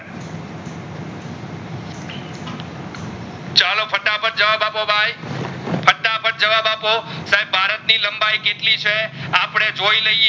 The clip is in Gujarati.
જવાબ આપો ભાઈ ફટાફટ જવાબ આપો સાહેબ ભારત ની લંબાઈ કેટલી છે અપડે જોઈ લઈએ